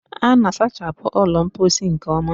A na-asachapụ ụlọ mposi nke ọma?